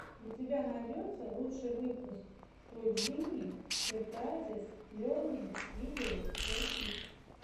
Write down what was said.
у тебя найдется лучший выпуск той джини сюрпрайзес лернинг видеос фор кидс